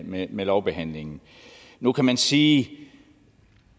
med med lovbehandlingen nu kan man sige